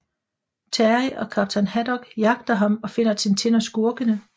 Terry og kaptajn Haddock jagter ham og finder Tintin og skurkene